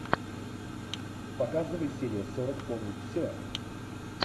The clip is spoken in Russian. показывай серия сорок помнить все